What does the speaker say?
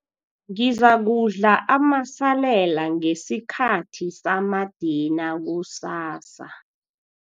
Ngizakudla amasalela ngesikhathi samadina kusasa.